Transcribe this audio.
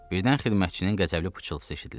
Birdən xidmətçinin qəzəbli pıçıltısı eşidildi.